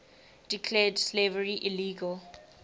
declared slavery illegal